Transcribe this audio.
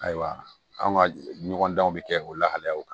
Ayiwa anw ka ɲɔgɔn danw bɛ kɛ o lahalaw kan